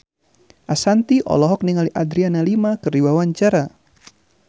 Ashanti olohok ningali Adriana Lima keur diwawancara